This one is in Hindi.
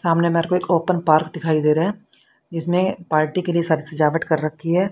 सामने मेरे को एक ओपन पार्क दिखाई दे रहा है जिसमें पार्टी के लिए सारी सजावट कर रखी है